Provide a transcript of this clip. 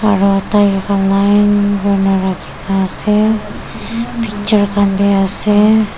aru tyre khan line kuri ne rakhi ne ase picture khan bi ase.